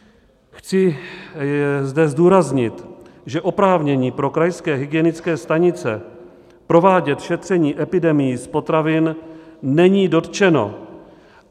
Chci zde zdůraznit, že oprávnění pro krajské hygienické stanice provádět šetření epidemií z potravin není dotčeno.